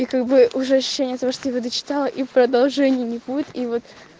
и как бы уже ощущение от того что его дочитала и продолжения не будет и вот